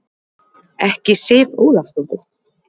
Ekki Sif Ólafsdóttir.